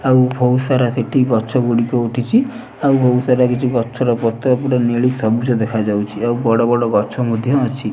ଆଉ ବୋହୁତ୍ ସାରା ସେଠି ଗଛଗୁଡିକ ଉଠିଚି ଆଉ ବୋହୁତ୍ ସାରା କିଛି ଗଛର ପତ୍ର ଗୁଡେ ନେଳି ସମୁଚ ଦେଖାଯାଉଚି ଆଉ ବଡବଡ ଗଛ ମଧ୍ୟ ଅଛି।